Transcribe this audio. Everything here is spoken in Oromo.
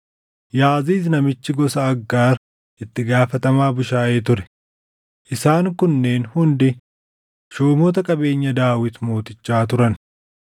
Yaaziiz namichi gosa Aggaar itti gaafatamaa bushaayee ture. Isaan kunneen hundi shuumota qabeenya Daawit mootichaa turan.